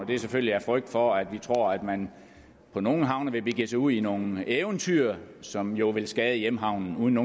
det er selvfølgelig af frygt for at man på nogle havne vil begive sig ud i nogle eventyr som jo vil skade hjemhavnen uden